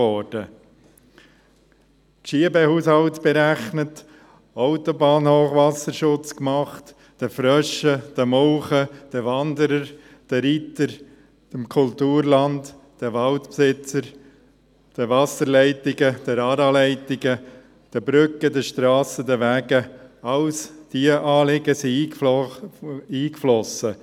Geschiebehaushalt berechnet, Autobahnhochwasserschutz gemacht, den Fröschen, den Molchen, den Wanderern, den Reitern, dem Kulturland, den Waldbesitzern, den Wasserleitungen, den ARA-Leitungen, den Brücken, den Strassen, den Wegen: All diese Anliegen sind eingeflossen.